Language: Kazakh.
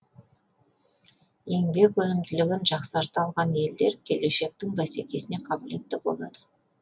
еңбек өнімділігін жақсарта алған елдер келешектің бәсекесіне қабілетті болады